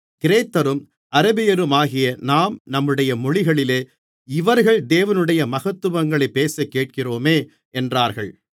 கிரேத்தரும் அரபியருமாகிய நாம் நம்முடைய மொழிகளிலே இவர்கள் தேவனுடைய மகத்துவங்களைப் பேசக்கேட்கிறோமே என்றார்கள்